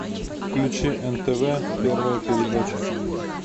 включи нтв первая передача